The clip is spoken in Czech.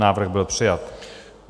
Návrh byl přijat.